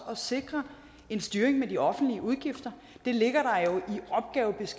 at sikre en styring af de offentlige udgifter det ligger